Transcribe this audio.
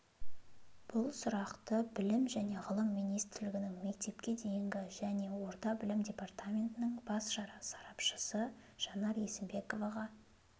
бұл сұрақты білім және ғылым министрлігінің мектепке дейінгі және орта білім департаментінің бас сарапшысы жанар есімбековаға